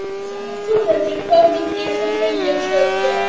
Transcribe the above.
Þórhildur: Hvað myndir þú vilja sjá gerast?